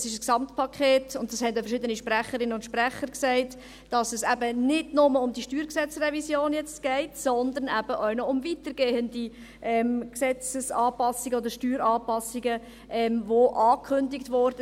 Es ist ein Gesamtpaket, und auch verschiedene Sprecherinnen und Sprecher haben gesagt, dass es jetzt nicht nur um die StG-Revision geht, sondern eben auch noch um weitergehende Gesetzes- oder Steueranpassungen, die angekündigt wurden.